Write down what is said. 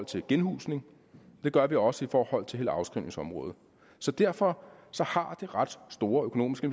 til genhusning det gør vi jo også i forhold til hele afskrivningsområdet så derfor har det ret store økonomiske